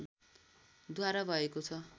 द्वारा भएको छ